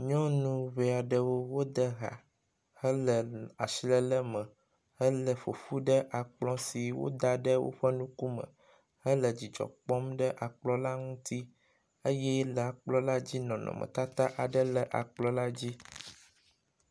Nyɔnu ŋɛɛ aɖewo wo dehã hele asi lele me hele ƒoƒu ɖe akplɔ woda ɖe woƒe ŋkume, hele dzidzɔ kpɔm ɖe akplɔ la ŋu, eye le akplɔ la dzi la, nɔnɔmetata aɖe le akplɔ la dzi